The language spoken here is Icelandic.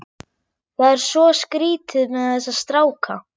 Það er svo skrýtið með þessa stráka.